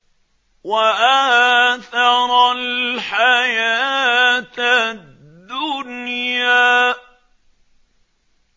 وَآثَرَ الْحَيَاةَ الدُّنْيَا